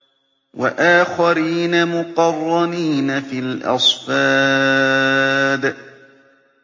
وَآخَرِينَ مُقَرَّنِينَ فِي الْأَصْفَادِ